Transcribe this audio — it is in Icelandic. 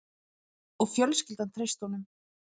Og fjölskyldan treysti honum